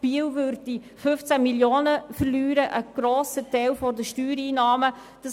Biel würde 15 Mio. Franken, also einen grossen Teil der Steuereinnahmen, verlieren.